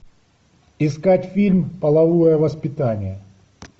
искать фильм половое воспитание